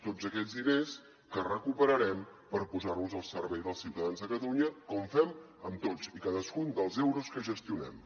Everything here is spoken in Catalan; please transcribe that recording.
tots aquests diners que recuperarem per posar los al servei dels ciutadans de catalunya com fem amb tots i cadascun dels euros que gestionem